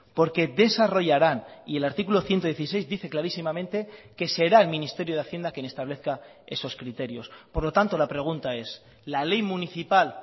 porque desarrollarán y el artículo ciento dieciséis dice clarísimamente que será el ministerio de hacienda quien establezca esos criterios por lo tanto la pregunta es la ley municipal